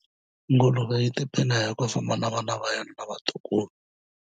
Nguluve yi tiphina hi ku famba na vana va yona na vatukulu.